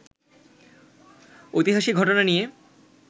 ঐতিহাসিক ঘটনা নিয়ে